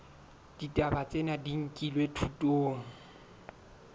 ditaba tsena di nkilwe thutong